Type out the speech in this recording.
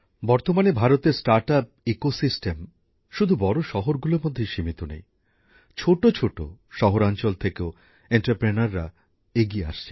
বর্তমানে ভারতের স্টার্টআপ ব্যবস্থাপনা শুধু বড় শহরগুলোর মধ্যে সীমিত নেই ছোট ছোট শহরাঞ্চল থেকেও শিল্পোদ্যোগীরা এগিয়ে আসছেন